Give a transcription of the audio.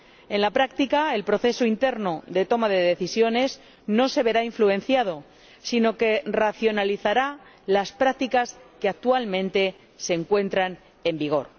En la práctica, el proceso interno de toma de decisiones no se verá influenciado, sino que racionalizará las prácticas que actualmente se encuentran en vigor.